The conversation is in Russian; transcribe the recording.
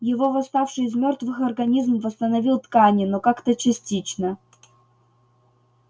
его восставший из мёртвых организм восстановил ткани но как-то частично